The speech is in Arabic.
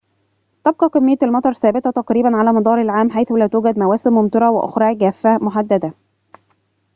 تبقى كمية المطر ثابتة تقريباً على مدار العام حيث لا توجد مواسم ممطرة وأخرى جافة محددة